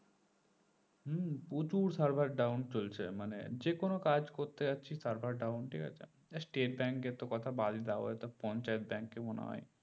হম প্রচুর server down চলছে মানে যে কোনো কাজ করতে যাচ্ছি server down ঠিক আছে আর স্টেট bank এর কথা তো বাদই দাও ঐটাতো পঞ্চায়েৎ bank ই মনে হয়